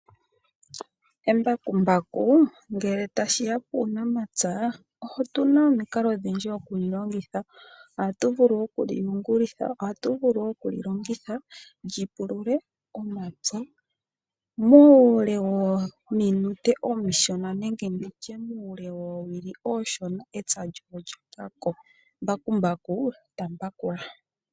Embakumbaku ngele tashiya kuunamapya otuna omikalo odhindji okulilongitha ohatuvulu okuliyungulitha, ohatuvulu okulilongidha lyipulule omapywa muule wominute omishona nenge nditye muule woowili ooshona. epywa lyoye olyapwako. Mbakumbaku tambakula.